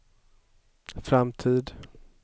framtid